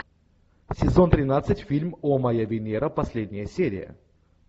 сезон тринадцать фильм о моя венера последняя серия